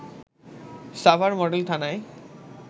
Savar model থানায়